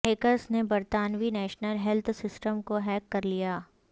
hackers نے برطانوی national health system کو ہیک کر لیا